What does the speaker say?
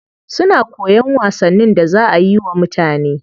Suna koyan wasannin da za ayi wa mutane.